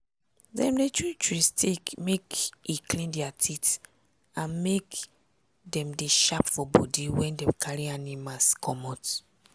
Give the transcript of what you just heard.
dem dey chew chewing stick make e clean dia teeth and make dem dey sharp for body when dem carry animals comot.